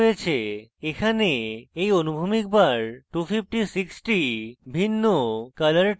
এখানে এই অনুভূমিক bar 256 tones ভিন্ন colour tones রাখে